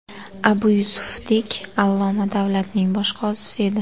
Abu Yusufdek alloma davlatning bosh qozisi edi.